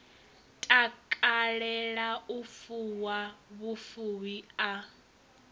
takalela u fuwa vhufuwi a